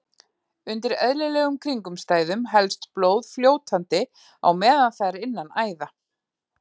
Undir eðlilegum kringumstæðum helst blóð fljótandi á meðan það er innan æða.